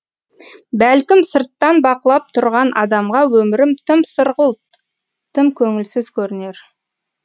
бәлкім сырттан бақылап тұрған адамға өмірім тым сұрғылт тым көңілсіз көрінер